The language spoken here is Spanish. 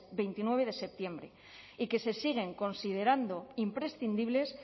veintinueve de septiembre y que se siguen considerando imprescindibles